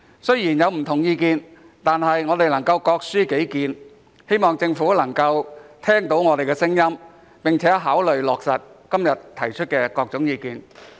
雖然大家有不同的意見，但我們都是各抒己見，希望政府能夠聽到我們的聲音，並考慮落實今天提出的各項意見。